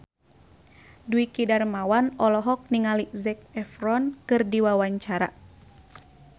Dwiki Darmawan olohok ningali Zac Efron keur diwawancara